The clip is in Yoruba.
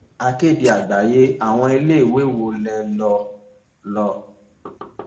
akéde àgbáyé àwọn iléèwé wo lẹ lò